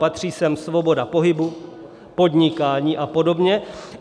Patří sem svoboda pohybu, podnikání a podobně.